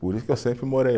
Por isso que eu sempre morei